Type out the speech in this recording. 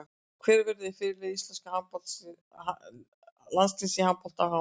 Hver verður fyrirliði íslenska landsliðsins í handbolta á HM?